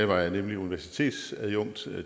var jeg nemlig universitetsadjunkt